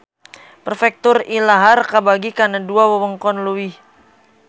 Perfektur ilahar kabagi kana dua wewengkon leuwih